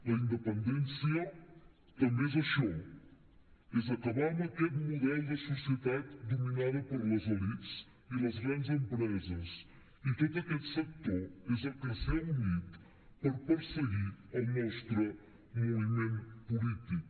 la independència també és això és acabar amb aquest model de societat dominada per les elits i les grans empreses i tot aquest sector és el que s’hi ha unit per perseguir el nostre moviment polític